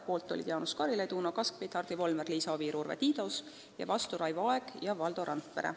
Poolt olid Jaanus Karilaid, Uno Kaskpeit, Hardi Volmer, Liisa Oviir ja Urve Tiidus ning vastu Raivo Aeg ja Valdo Randpere.